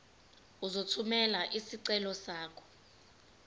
uzothumela isicelo sakho